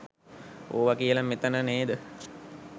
ඕව කියල මෙතන නේද?